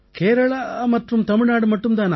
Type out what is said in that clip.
கேரளா மற்றும் தமிழ்நாடு மட்டும் தானா